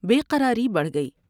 بے قراری بڑھ گئی ۔